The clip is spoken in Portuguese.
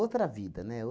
vida, né?